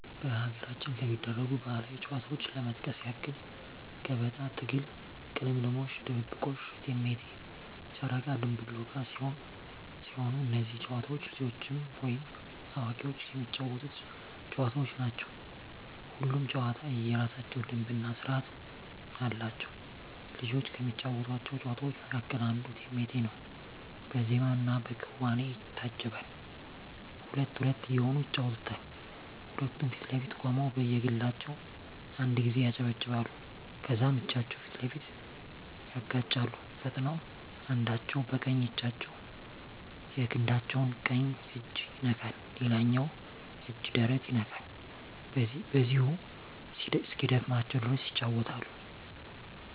በሀገራችን ከሚደረጉ ባህላዊ ጨዋታዎች ለመጥቀስ ያክል ገበጣ፣ ትግል፣ ቅልምልሞሽ፣ ድብብቆሽ፣ እቴሜቴ፣ ጨረቃ ድንቡል ዕቃ ሲሆኑ እነዚህ ጨዋታዎች ልጆችም ወይም አዋቂዎች የሚጫወቱት ጨዋታዎች ናቸው። ሁሉም ጨዋታ የየራሳቸው ደንብ እና ስርዓት አላቸው። ልጆች ከሚጫወቷቸው ጨዋታዎች መካከል አንዱ እቴሜቴ ነው በዜማና በክዋኔ ይታጀባል ሁለት ሁለት እየሆኑ ይጫወቱታል ሁለቱም ፊት ለፊት ቆመው በየግላቸው አንድ ጊዜ ያጨበጭባሉ ከዛም እጃቸውን ፊት ለፊት ያጋጫሉ ፈጥነው አንዳቸው በቀኝ እጃቸው የክንዳቸው ቀኝ እጅ ይነካል ሌላኛው እጅ ደረት ይነካል በዚሁ እስኪደክማቸው ድረስ ይጫወታሉ።